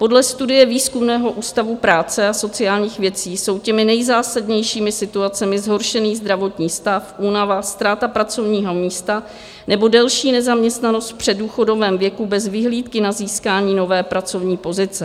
Podle studie Výzkumného ústavu práce a sociálních věcí jsou těmi nejzásadnějšími situacemi zhoršený zdravotní stav, únava, ztráta pracovního místa nebo delší nezaměstnanost v předdůchodovém věku bez vyhlídky na získání nové pracovní pozice.